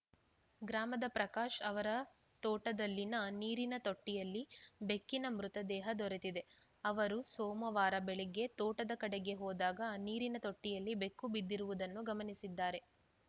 ಗ್ರಾಮದ ಪ್ರಕಾಶ್‌ ಅವರ ತೋಟದಲ್ಲಿನ ನೀರಿನ ತೊಟ್ಟಿಯಲ್ಲಿ ಬೆಕ್ಕಿನ ಮೃತದೇಹ ದೊರೆತಿದೆ ಅವರು ಸೋಮವಾರ ಬೆಳಗ್ಗೆ ತೋಟದ ಕಡೆಗೆ ಹೋದಾಗ ನೀರಿನ ತೊಟ್ಟಿಯಲ್ಲಿ ಬೆಕ್ಕು ಬಿದ್ದಿರುವುದನ್ನು ಗಮನಿಸಿದ್ದಾರೆ